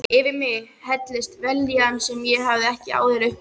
Yfir mig helltist vellíðan sem ég hafði ekki áður upplifað.